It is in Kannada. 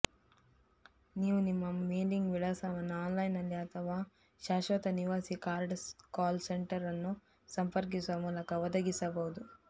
ನೀವು ನಿಮ್ಮ ಮೇಲಿಂಗ್ ವಿಳಾಸವನ್ನು ಆನ್ಲೈನ್ನಲ್ಲಿ ಅಥವಾ ಶಾಶ್ವತ ನಿವಾಸಿ ಕಾರ್ಡ್ ಕಾಲ್ ಸೆಂಟರ್ ಅನ್ನು ಸಂಪರ್ಕಿಸುವ ಮೂಲಕ ಒದಗಿಸಬಹುದು